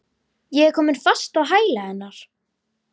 Ég er komin fast á hæla hennar.